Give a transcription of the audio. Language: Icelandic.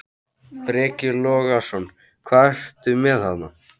Breki Logason: Hvað ertu með þarna?